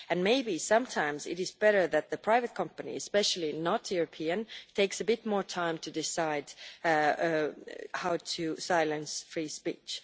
Maybe sometimes it is better that the private companies especially not European take a bit more time to decide how to silence free speech.